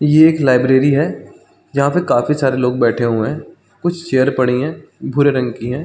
ये एक लाइब्रेरी है जहाँ पे काफी सारे लोग बैठे हुए है कुछ चेयर पड़े है भूरे कलर की है।